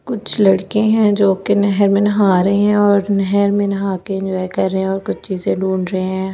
कुछ लड़के है जो कि नहर में नहा रहे और नहर में नहा के इंजॉय कर रहे हैं और कुछ चीजें ढूढ़ रहे हैं बहुत से लड़ --